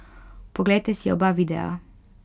Poglejte si oba videa...